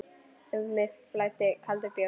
Um mig flæddi kaldur bjór.